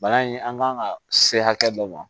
Bana in an kan ka se hakɛ dɔ ma